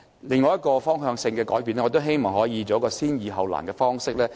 另一個方向性的改變是我希望我們可以採用先易後難的方式。